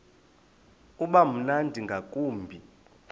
uba mnandi ngakumbi